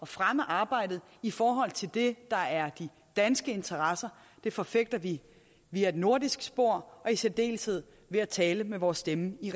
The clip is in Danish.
fremme arbejdet i forhold til det der er de danske interesser det forfægter vi via et nordisk spor og i særdeleshed ved at tale med vores stemme i